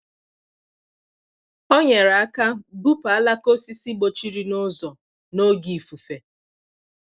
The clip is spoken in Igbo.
ọ nyere aka bupu alaka osisi gbochiri n’ụzọ n’oge ifufe.